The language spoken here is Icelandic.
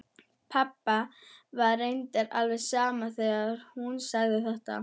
Pabba var reyndar alveg sama þegar hún sagði þetta.